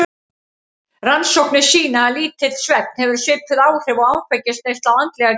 Rannsóknir sýna að lítill svefn hefur svipuð áhrif og áfengisneysla á andlega getu.